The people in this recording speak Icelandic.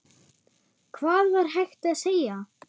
Hvað var hægt að segja?